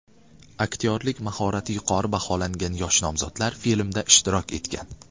Aktyorlik mahorati yuqori baholangan yosh nomzodlar filmda ishtirok etgan.